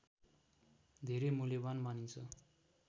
धेरै मूल्यवान् मानिन्छ